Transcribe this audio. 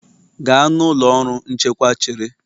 Gaa na ụlọ ọrụ nchekwa chere